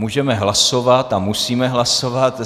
Můžeme hlasovat a musíme hlasovat.